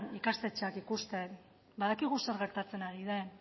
ikastetxeak ikusten badakigu zer gertatzen ari den